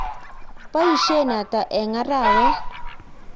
nboisien ata eng' arawet?